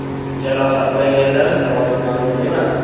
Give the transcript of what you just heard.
Jarohatlanganlar soni ma’lum emas.